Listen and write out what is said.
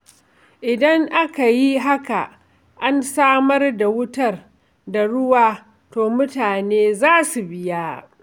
Idan aka yi haka, an samar da wutar da ruwa, to mutane za su biya.